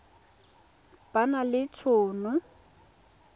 ba na le t hono